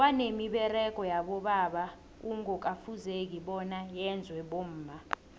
kwanemiberego yabobaba kungoka fuzeki bona yenzwe bomma